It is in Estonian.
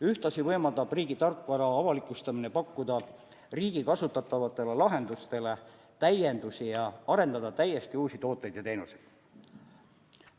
Ühtlasi võimaldab riigi tarkvara avalikustamine pakkuda riigi kasutatavatele lahendustele täiendusi ja arendada täiesti uusi tooteid ja teenuseid.